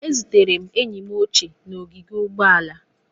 Ezutere enyi m ochie n'ogige ụgbọala